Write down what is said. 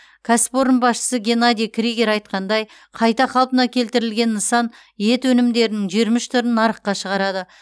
кәсіпорын басшысы геннадий кригер айтқандай қайта қалпына келтірілген нысан ет өнімдерінің жиырма үш түрін нарыққа шығарады